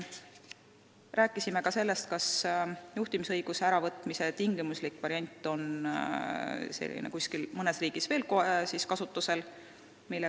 Rääkisime ka sellest, kas juhtimisõiguse äravõtmise tingimuslik variant on mõnes riigis veel kasutusel.